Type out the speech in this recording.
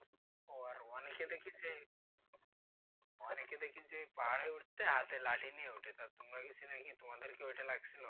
অনেকে দেখি যে অনেকে দেখি যে পাহাড়ে উঠতে হাতে লাঠি নিয়ে ওঠে তা তোমাদের কি ঐটা লেগেছিল?